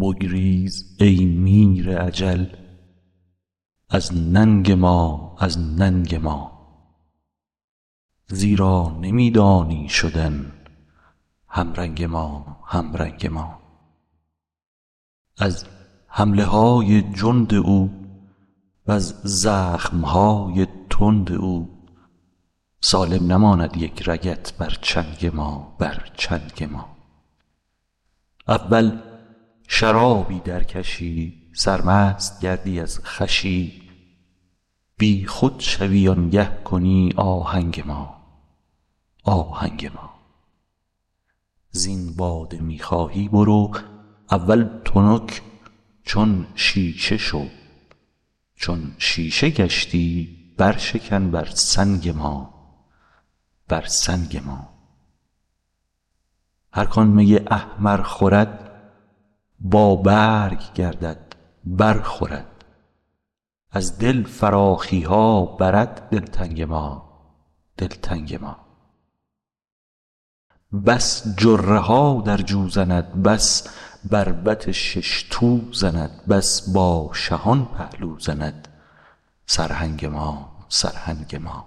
بگریز ای میر اجل از ننگ ما از ننگ ما زیرا نمی دانی شدن همرنگ ما همرنگ ما از حمله های جند او وز زخم های تند او سالم نماند یک رگت بر چنگ ما بر چنگ ما اول شرابی درکشی سرمست گردی از خوشی بیخود شوی آنگه کنی آهنگ ما آهنگ ما زین باده می خواهی برو اول تنک چون شیشه شو چون شیشه گشتی برشکن بر سنگ ما بر سنگ ما هر کان می احمر خورد بابرگ گردد برخورد از دل فراخی ها برد دلتنگ ما دلتنگ ما بس جره ها در جو زند بس بربط شش تو زند بس با شهان پهلو زند سرهنگ ما سرهنگ ما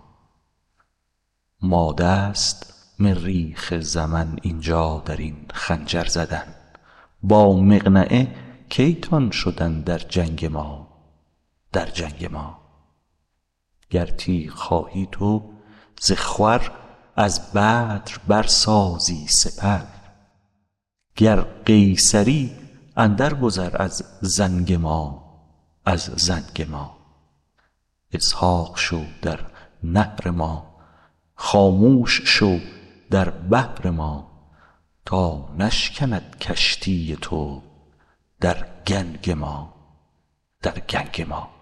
ماده است مریخ زمن این جا در این خنجر زدن با مقنعه کی تان شدن در جنگ ما در جنگ ما گر تیغ خواهی تو ز خور از بدر برسازی سپر گر قیصری اندرگذر از زنگ ما از زنگ ما اسحاق شو در نحر ما خاموش شو در بحر ما تا نشکند کشتی تو در گنگ ما در گنگ ما